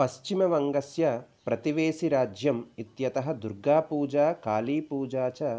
पश्चिमवङ्गस्य प्रतिवेशिराज्यम् इत्यतः दुर्गापूजा कालीपूजा च